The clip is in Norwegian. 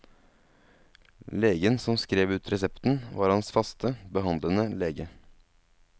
Legen som skrev ut resepten, var hans faste, behandlende lege.